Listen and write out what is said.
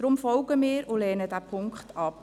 Darum folgen wir ihm und lehnen diesen Punkt ab.